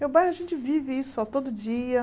Meu bairro a gente vive isso ó todo dia.